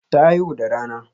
Ta haihu da rana.